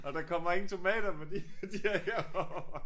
Og der kommer ingen tomater fordi de er herovre